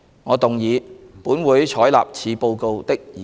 我動議"本會採納此報告"的議案。